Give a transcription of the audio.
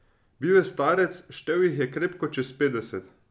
Bil je starec, štel jih je krepko čez petdeset.